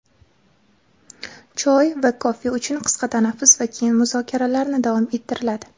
choy va kofe uchun qisqa tanaffus va keyin muzokaralarni davom ettiriladi.